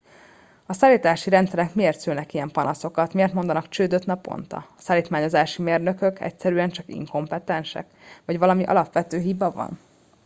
a szállítási rendszerek miért szülnek ilyen panaszokat miért mondanak csődöt naponta a szállítmányozási mérnökök egyszerűen csak inkompetensek vagy valami alapvető hiba van